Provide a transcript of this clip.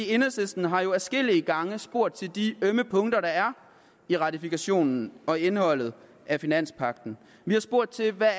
enhedslisten har jo adskillige gange spurgt til de ømme punkter der er i ratifikationen og i indholdet af finanspagten vi har spurgt til hvad